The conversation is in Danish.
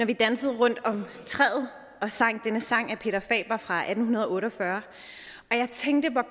vi dansede rundt om træet og sang denne sang af peter faber fra atten otte og fyrre at jeg tænkte på